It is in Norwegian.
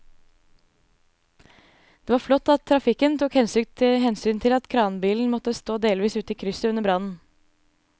Det var flott at trafikken tok hensyn til at kranbilen måtte stå delvis ute i krysset under brannen.